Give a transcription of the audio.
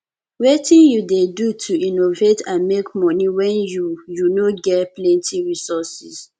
wetin you dey do to innovate and make monie when you you no ge plenty resources